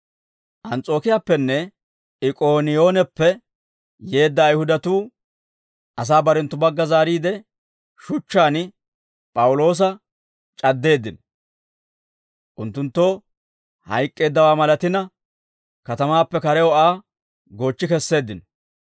Ans's'ookiyaappenne Ik'ooniyooneppe yeedda Ayihudatuu asaa barenttu bagga zaariide, shuchchaan P'awuloosa c'addeeddino; unttunttoo hayk'k'eeddawaa malatina, katamaappe karew Aa goochchi kesseeddino.